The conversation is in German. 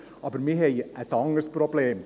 Aber wir haben ein anderes Problem.